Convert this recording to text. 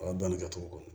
O y'a bannen kɛ cogo kɔni ye